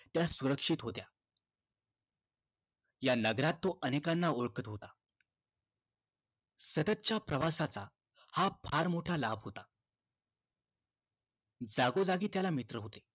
त्या सुरक्षित होता या नगरात तो अनेकांना ओळखत होता सतत च्या प्रवासाचा हा फार मोठा लाभ होता जागोजागी त्याला मित्र होते